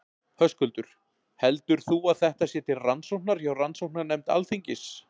Höskuldur: Heldur þú að þetta sé til rannsóknar hjá rannsóknarnefnd Alþingis?